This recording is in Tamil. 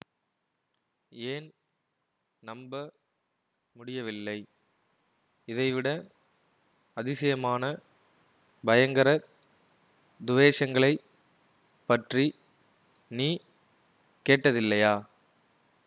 ஏன் நம்ப முடியவில்லை இதைவிட அதிசயமான பயங்கர துவேஷங்களைப் பற்றி நீ கேட்டதில்லையா